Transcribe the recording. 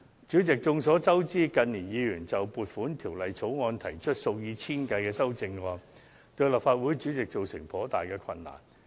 主席，眾所周知，近年有議員就《撥款條例草案》提出數以千計的修正案，成為立法會主席所須面對的一大難題。